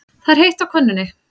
Það er heitt á könnunni.